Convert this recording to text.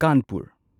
Kanpur